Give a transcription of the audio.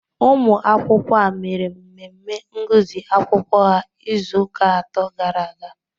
Ụmụ akwụkwọ a mere mmemme ngụsị akwụkwọ ha izuụka atọ gara aga